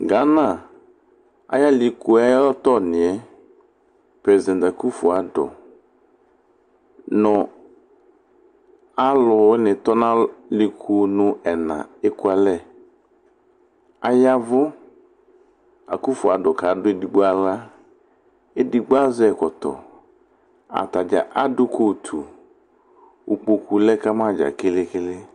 Gana ayʋ alɩku yɛ ayʋ alɔtɔnɩ yɛ, presidan kufo ado nʋ alʋwɩnɩ tɔ nʋ alɩkunu ɛna ekualɛ Aya ɛvʋ, akufo ado kadʋ edigbo aɣla Edigbo azɛ ɛkɔtɔ Ata dza adʋ kotu Ukpoku lɛ ka ma dza kele-kele